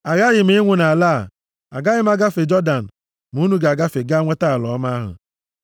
Aghaghị m ịnwụ nʼala a. Agaghị m agafe Jọdan. Ma unu ga-agafe gaa nweta ala ọma ahụ.